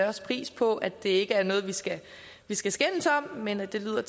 også pris på at det ikke er noget vi skal skal skændes om men at det lyder